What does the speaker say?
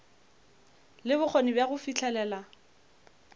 le bokgoni bja go fihlelela